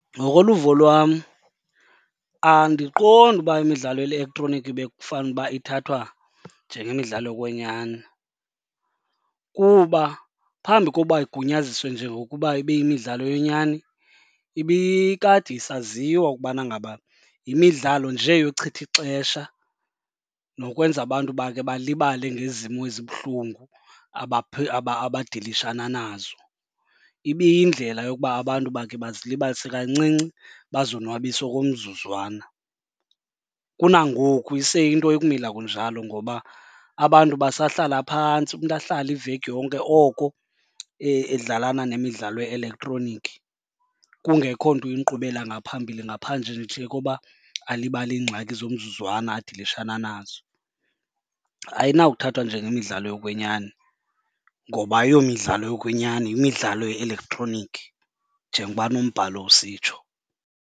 Ngokoluvo lwam andiqondi uba imidlalo ye-elektroniki bekufanele uba ithathwa njengemidlalo yokwenyani kuba phambi koba igunyazisiwe njengokuba ibe yimidlalo yenyani, ibikade isaziwa ukubana ngaba yimidlalo nje yochitha ixesha nokwenza abantu bakhe balibale ngezimo ezibuhlungu abadilishana nazo. Ibiyindlela yokuba abantu bakhe bazilibazise kancinci, bazonwabise okomzuzwana. Kunangoku iseyinto ekumila kunjalo ngoba abantu basahlala phantsi, umntu ahlale iveki yonke oko edlalana nemidlalo ye-elektroniki kungekho nto iyinkqubela ngaphambili ngaphandle nje koba alibale iingxaki zomzuzwana adilishana nazo. Ayinakuthathwa njengemidlalo yokwenyani ngoba ayiyo midlalo yokwenyani, yimidlalo ye-elektroniki njengoba nombhalo usitsho.